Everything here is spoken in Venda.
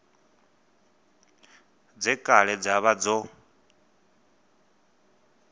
dze kale dza vha dzo